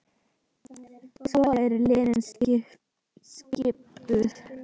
Svona eru liðin skipuð